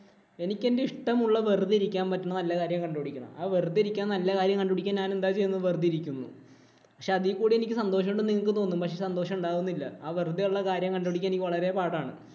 എനിക്ക് എന്‍റെ ഇഷ്ടമുള്ള വെറുതെ ഇരിക്കാൻ പറ്റണ നല്ല കാര്യം കണ്ടുപിടിക്കണം. അത് വെറുതെ ഇരിക്കാന്‍ നല്ല കാര്യം കണ്ടുപിടിക്കാന്‍ ഞാനെന്താ ചെയ്യുന്നത്? വെറുതെ ഇരിക്കുന്നു. പക്ഷേ, അതീ കൂടി എനിക്ക് സന്തോഷം ഉണ്ടെന്നു നിങ്ങക്ക് തോന്നും. പക്ഷേ, സന്തോഷം ഉണ്ടാകുന്നില്ല. ആ വെറുതെയുള്ള കാര്യം കണ്ടുപിടിക്കാന്‍ എനിക്ക് വളരെ പാടാണ്.